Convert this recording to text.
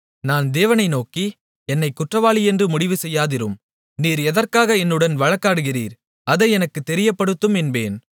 நான் தேவனை நோக்கி என்னைக் குற்றவாளியென்று முடிவுசெய்யாதிரும் நீர் எதற்காக என்னுடன் வழக்காடுகிறீர் அதை எனக்குத் தெரியப்படுத்தும் என்பேன்